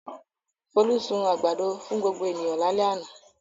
Folú sun àgbàdo fún gbogbo ènìyàn lálẹ́ àná.